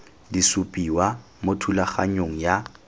di supiwa mo thulaganyong ya